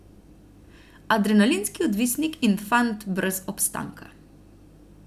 Adrenalinski odvisnik in fant brez obstanka.